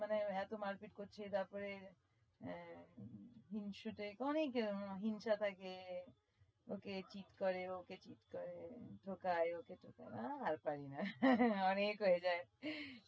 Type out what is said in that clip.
মানে এতো মারপিট করছে তারপরে আহ হিংসুটে অনেক হিংসা থাকে ওকে cheat করে ওকে cheat করে ঠকায় ওকে ঠকায় আহ আর পারি না অনেক হয়ে যায়